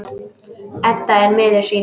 Edda er miður sín.